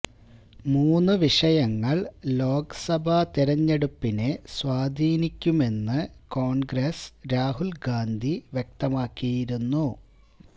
മൂന്ന് വിഷയങ്ങൾ ലോക്സഭാ തെരഞ്ഞെടുപ്പിനെ സ്വാധീനിക്കുമെന്ന് കോൺഗ്രസ് രാഹുൽ ഗാന്ധി വ്യക്തമാക്കിയിരുന്നു